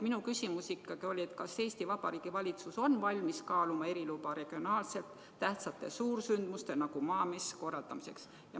Minu küsimus oli, et kas Eesti Vabariigi valitsus on valmis kaaluma eriloa andmist selliste regionaalselt tähtsate suursündmuste nagu Maamess korraldamiseks.